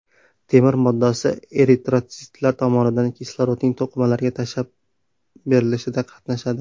Temir moddasi eritrotsitlar tomonidan kislorodning to‘qimalarga tashib berilishida qatnashadi.